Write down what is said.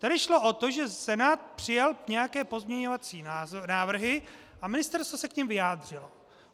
Tady šlo o to, že Senát přijal nějaké pozměňovací návrhy a ministerstvo se k nim vyjádřilo.